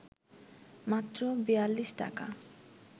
মাত্র ৪২ টাকা